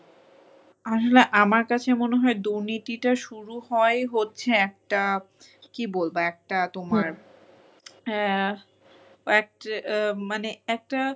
আসলে আমার কাছে মনে হয় দুর্নীতিটা শুরু হয় হচ্ছে একটা কী বলবো একটা তোমার আহ এক মানে একটা